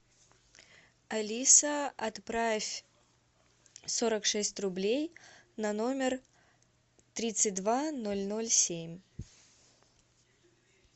алиса отправь сорок шесть рублей на номер тридцать два ноль ноль семь